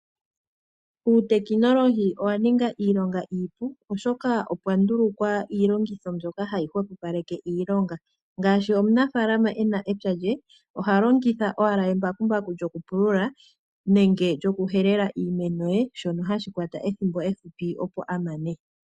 Uutekinolohi owa ninga iilonga iipu oshoka opwa ndulukwa iilongitho mbyoka hayi hwepopaleke iilonga. Ngaashi omunafalama ena epya lye oha longitha owala embakumbaku lyokupulula nenge lyokuhelela iimeno ye, shono hashi kwata ethimbo efupi opo a mane.